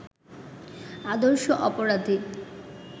আদর্শ অপরাধী